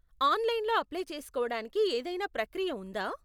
ఆనలైన్లో apply చేసుకోవడానికి ఏదైనా ప్రక్రియ ఉందా?